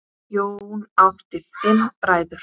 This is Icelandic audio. Jón átti fimm bræður.